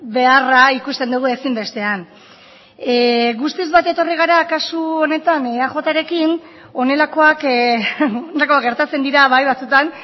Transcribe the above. beharra ikusten dugu ezinbestean guztiz bat etorri gara kasu honetan eajrekin honelakoak gertatzen dira bai batzutan